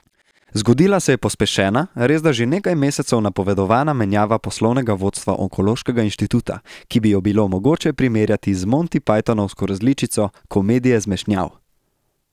Zgodila se je pospešena, resda že nekaj mesecev napovedovana menjava poslovnega vodstva onkološkega inštituta, ki bi jo bilo mogoče primerjati z montipajtonovsko različico komedije zmešnjav.